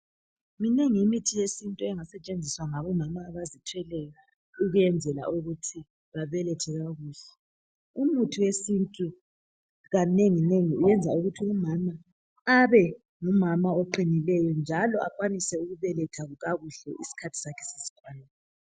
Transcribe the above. Minengi imithi yesintu engasetshenziswa ngabomama abazithweleyo ukuyenzela ukuthi babelethe kakuhle, umuthi wesintu kanengi nengi uyenza ukuthi umama abe ngumama oqinileyo njalo akwanise ukubeletha kakuhle isikhathi sakhe sesikwanile.